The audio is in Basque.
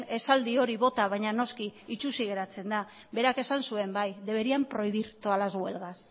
esaldi hori bota baina noski itsusi geratzen da berak esan zuen bai deberían prohibir todas las huelgas